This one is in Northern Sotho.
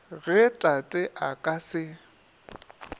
ge tate a ka se